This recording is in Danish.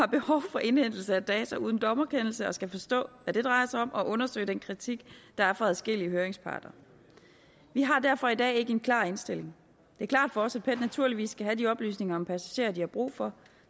for indhentelse af data uden dommerkendelse og skal forstå hvad det drejer sig om og undersøge den kritik der er fra adskillige høringsparter vi har derfor i dag ikke en klar indstilling det er klart for os at pet naturligvis skal have de oplysninger om passagerer de har brug for